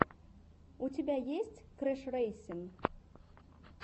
у тебя есть крэшрэйсин